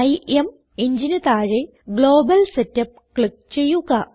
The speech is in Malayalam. IMEngineന് താഴെ ഗ്ലോബൽ സെറ്റപ്പ് ക്ലിക്ക് ചെയ്യുക